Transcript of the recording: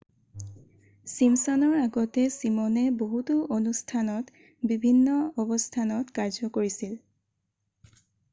ছিমছনৰ আগতে ছিমনে বহুতো অনুষ্ঠানত বিভিন্ন অৱস্থানত কাৰ্য কৰিছিল